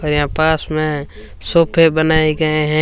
और यहां पास में सोफे बनाए गए हैं।